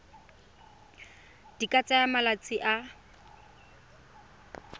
di ka tsaya malatsi a